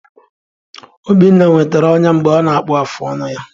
Obinna nwetara ọnya mgbe ọ na-akpụ afụ ọnụ ya.